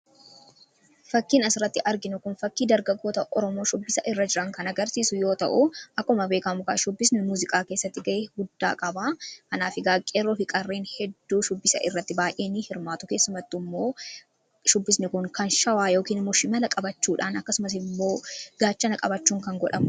Fakkiin as irratti arginu kun fakkii dargaggoota oromoo shubbisa irra jiran kana garsiisu yoo ta'u aquma beekaa mugaa shubbisni muuziqaa keessatti ga'e guddaa qabaa kanaa fi gaaqeeroo fi qarreen hedduu shubbisa irratti baay'eenii hirmaatu keessumatti immoo shubbisni kun kan shawaa yookin mushi mala qabachuudhaan akkasumas immoo gaachana qabachuu kan godhamu.